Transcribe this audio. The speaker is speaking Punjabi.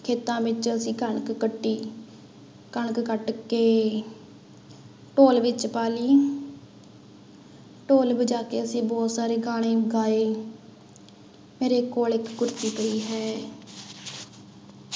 ਖੇਤਾਂ ਵਿੱਚ ਅਸੀਂ ਕਣਕ ਕੱਟੀ, ਕਣਕ ਕੱਟ ਕੇ ਢੋਲ ਵਿੱਚ ਪਾ ਲਈ ਢੋਲ ਵਜਾ ਕੇ ਅਸੀਂ ਬਹੁਤ ਸਾਰੇ ਗਾਣੇ ਗਾਏ ਮੇਰੇ ਕੋਲ ਇੱਕ ਕੁੱਤੀ ਪਈ ਹੈ।